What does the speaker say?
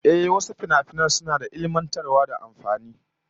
Ehh, wasu finafinan suna da ilmantarwa da amfani